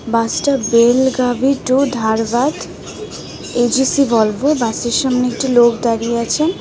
বাসটা Belagavi to Dharwad AGC Volvo বাসের সামনে একটি লোক দাঁড়িয়ে আছেন .